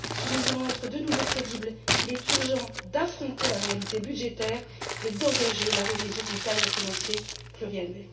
Si nous voulons être de nouveau crédibles, il est urgent d'affronter la réalité budgétaire et d'engager la révision du cadre financier pluriannuel.